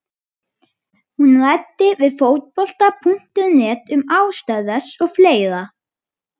Hún ræddi við Fótbolta.net um ástæður þess og fleira.